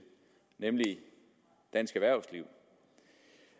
nemlig dansk erhvervsliv